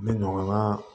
N bɛ ɲɔgɔn ka